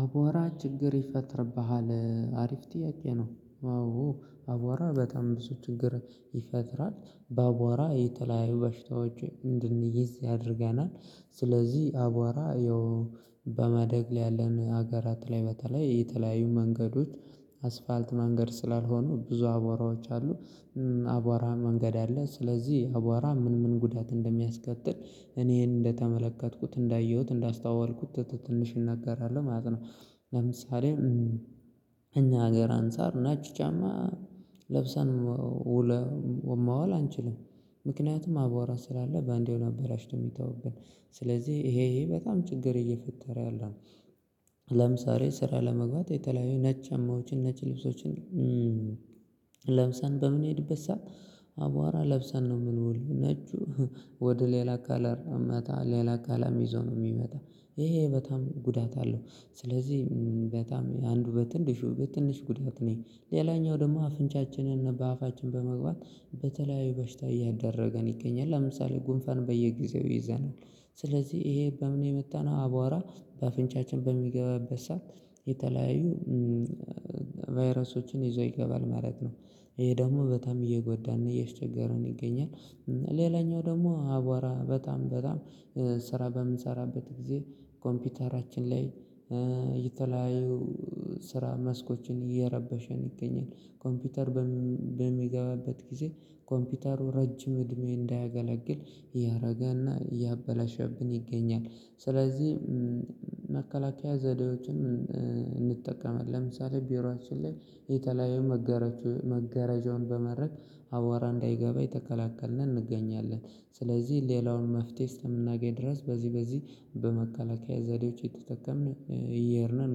አቧራ ችግር ይፈጥርብሃል አሪፍ ጥያቄ ነው? አዎ አቧራ በጣም ብዙ ችግር ይፈጥራል በአቧራ የተለያዩ በሽታዎች እንድንያዝ ያደርገናል። ስለዚህ አቧራ ያው በማደግ ላይ ያለን ሀገራት ላይ በተለይ የተለያዩ መንገዶች አስፋልት መንገድ ስላልሆኑ ብዙ አቧራዎች አሉ አቧራ መንገድ አለ ስለዚህ አቧራ ምን ምን ጉዳት እንደሚያስከትል እኔ እንደተመለከትኩት እንዳየሁት እንዳስተዋወልኩት ትንሽ እናገራለሁ ማለት ነው። ለምሳሌ ከኛ ሀገር አንፃር ነጭ ጫማ ለብሰን መዋል አንችልም። ምክንያቱም አዋራ ስላለ በአንዴው ነው አበላሽቶ የሚጥልብን ስለዚህ ይሄ በጣም ችግር እየፈጠረ ያለው። ለምሳሌ ስራ ለመግባት የተለያዩ ነጭ ጫማዎችን ነጭ ልብሶችን ለብሰን በምንሄድበት ሰዓት አቧራ ለብሰን ነው የምንውለው ወደ ሌላ አካላት አመታ ሌላ አካልም ይዞ ነው የሚመጣው ይሄ በጣም ጉዳት አለው። ስለዚህ በጣም አንዱ በትንሹ በትንሹ ጉዳት ነው ሌላኛው ደግሞ አፍንጫችንን በአፋችን በመግባት በተለያዩ በሽታ እያጋለጠን ይገኛል ለምሳሌ ጉንፋን በየጊዜው ይዘናል። ስለዚህ ይሄ በምን የመጣነው አቧራ በአፍንጫችን በሚገባበት ሰዓት የተለያዩ ቫይረሶችን ይዞ ይገባል ማለት ነው። ይሄ ደግሞ በጣም እየጎዳን ነው እያስቸገረን ይገኛል። ሌላኛው ደግሞ አቧራ በጣም በጣም ስራ በምንሰራበት ጊዜ ኮምፒውተራችን ላይ የተለያዩ ስራ መስኮችን እየረበሸ እንገኛለን ኮምፒውተር በሚገባበት ጊዜ ኮምፒውተሩ ረጅም እድሜ እንዳያገለግል ያደርግና እያበላሸብን ይገኛል። ስለዚህ መከላከያ ዘዴዎችም እንጠቀማለት ለምሳሌ ቢሮአችን ላይ የተለያዩ መጋረጃዎች መገረጃውን በመጋረድ አዋራ እንዳይገባ እየተከላከልን እንገኛለን። ስለዚህ ሌላውን መፍትሄ እስከምናገኝ ድረስ በዚህ በዚህ በመከላከያ ዘዴዎች የተጠቀምን እንገኛለን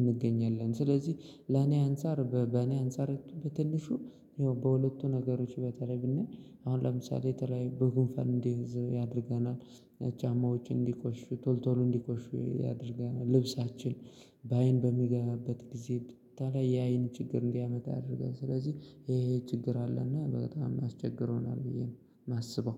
እንገኛለን። ስለዚህ ለኔ አንፃር በኔ አንፃር በትንሹ ያው በሁለቱ ነገሮች በተለይ ብንይ አሁን ለምሳሌ የተለያዩ በጉንፋን እንድንያዝ ያደርገናል። ጫማችን እንዲቆሽሽ ቶል ቶሎ እንዲቆሽሽ ያደርጋል ልብሳችን በአይን በሚገባበት ጊዜ በተለይ የአይን ችግር እንዲያመጣ ያደርጋል ስለዚህ ይሄ ችግር አለና በጣም አስቸግሮናል ብዬ ነው የማስበው